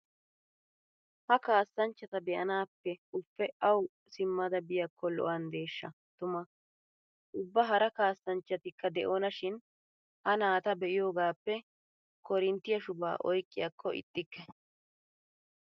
Ha kaassanchchata be'anaappe ufe awu simmada biyaakko lo'anddeeshsha tuma. Ubba hara kaassanchchatikka de'ona shin ha naata be'iyogaappe korinttiyaa shubaa oyqqiyaakko ixxikke.